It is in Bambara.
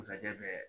bɛ